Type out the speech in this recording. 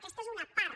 aquesta és una part